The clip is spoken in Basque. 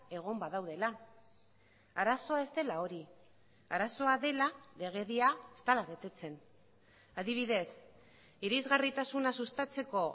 egon badaudela arazoa ez dela hori arazoa dela legedia ez dela betetzen adibidez irisgarritasuna sustatzeko